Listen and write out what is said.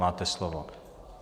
Máte slovo.